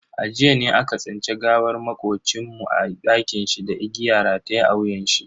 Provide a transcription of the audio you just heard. A jiya ne aka tsinci gawar makocin mu a dakinshi da igiya rataye a wuyanshi.